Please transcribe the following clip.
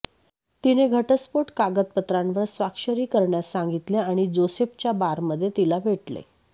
तिने घटस्फोट कागदपत्रांवर स्वाक्षरी करण्यास सांगितले आणि जोसेफच्या बारमध्ये तिला भेटले